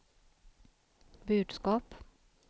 budskap